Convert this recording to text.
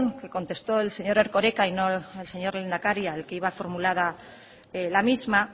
que contestó el señor erkoreka y no el señor lehendakari al que iba formulada la misma